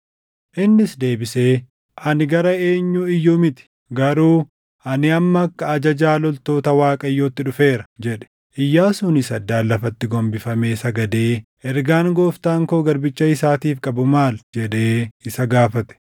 Innis deebisee, “Ani gara eenyuu iyyuu miti; garuu ani amma akka ajajaa loltoota Waaqayyootti dhufeera” jedhe. Iyyaasuunis addaan lafatti gombifamee sagadee, “Ergaan Gooftaan koo garbicha isaatiif qabu maali?” jedhee isa gaafate.